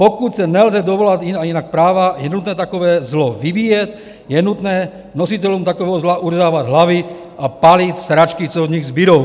Pokud se nelze dovolat jinak práva, je nutné takové zlo vybíjet, je nutné nositelům takového zla uřezávat hlavy a pálit sračky, co od nich zbudou."